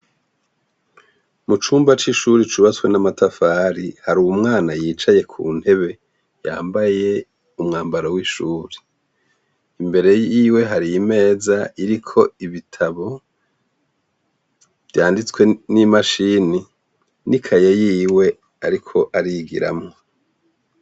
Mucumba c'ishure cubutswe namatafari har'umwana yicaye kuntebe yambaye umwambaro w'ishure, imbere yiwe har'imeza iriko ibitabo vyanditswe n'imishini nikaye yiwe ariko arigiramwo.